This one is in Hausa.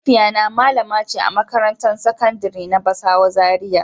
Mahaifiya na malamace a makarantan sakandari na basawa Zaria.